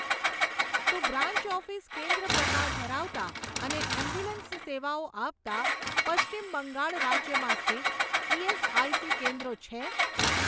શું branch office કેન્દ્ર પ્રકાર ધરાવતાં અને એમ્બ્યુલન્સ સેવાઓ આપતાં પશ્ચિમ બંગાળ રાજ્યમાં સ્થિત ઇએસઆઇસી કેન્દ્રો છે?